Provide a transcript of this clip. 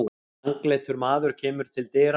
Langleitur maður kemur til dyra.